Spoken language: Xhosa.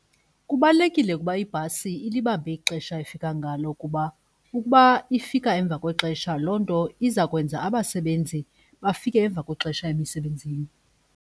Kubalulekile ukuba ibhasi ilibambe ixesha efika ngalo kuba ukuba ifika emva kwexesha loo nto izakwenza abasebenzi bafike emva kwexesha emisebenzini.